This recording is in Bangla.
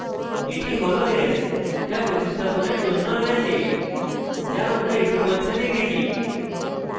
এটি হল s যা প্রতিস্থাপণের জন্য রয়েছে যা আমরা ইতিমধ্যে দেখেছি